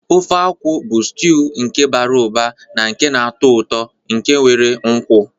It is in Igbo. Ofe akwu bu stiuu nke bara ụba na nke na-atọ ụtọ nke nwere nkwu.